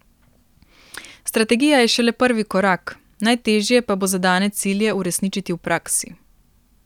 Strategija je šele prvi korak, najtežje pa bo zadane cilje uresničiti v praksi.